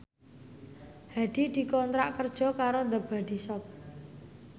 Hadi dikontrak kerja karo The Body Shop